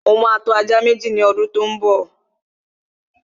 Mo ma tọ́ ajá Méjì ní ọdún tó ḿ bọ̀